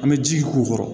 An bɛ ji k'u kɔrɔ